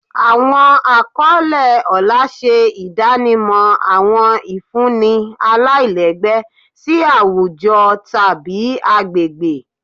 Àwọn àkọlé ọlá ṣe ìdánimọ̀ àwọn ìfúnni aláìlẹ́gbẹ́ sí àwùjọ tàbí agbègbè